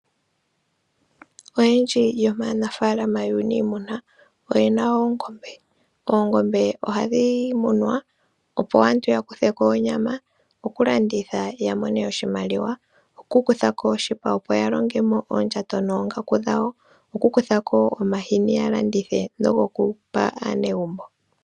Oyendji yomaanafalama yuunimuna, oyena oongombe. Oongombe ohadhi munwa, opo aantu ya kutheko onyama, oku landitha ya mone oshimaliwa, oku kutha ko oshipa opo ya longemo oondjato noongaku dhawo, oku kutha ko omashini ya landithe, nogo kupa aanegumbo.